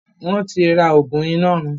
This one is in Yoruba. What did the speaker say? wón tí rà oògùn Inọrun